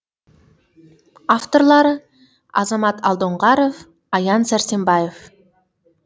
авторлары азамат алдоңғаров аян сәрсенбаев